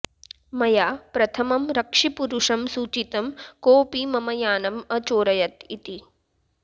मया प्रथमं रक्षिपुरुषं सूचितं कोऽपि मम यानम् अचोरयत् इति